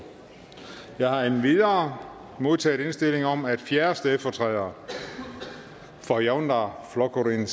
jeg har endvidere modtaget indstilling om at fjerde stedfortræder for javnaðarflokkurin